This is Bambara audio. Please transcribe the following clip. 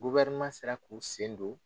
sera k'u sen don